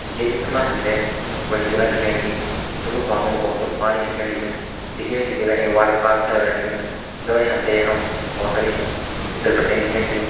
ये चित्र मा हमथे एक बड़ी जगा दिखेण लगीं जोमु भाप मनू भौत सरू पाणी दिखेण लग्यूं दिखेण जी जगा एक वाटर पार्क छा लगण लगिम जौणी हमथे यखम भौत सारी फिसर पट्टेन दिखेण लगीं।